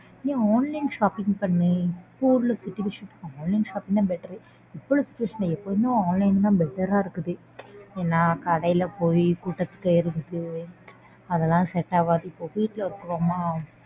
ஏன் online shopping பண்ணு. இப்போ உள்ள situation க்கு online shopping தான் better இப்போ உள்ள situation ல எப்போவுமே online தான் better ஆ இருக்குது. ஏன்னா கடைல போயி கூட்டத்துல எடுத்து அதெல்லாம் set ஆகாது. வீட்ல இருக்கிறோமா.